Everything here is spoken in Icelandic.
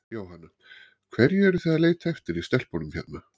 Jóhanna: Hverju eruð þið að leita eftir í stelpunum hérna?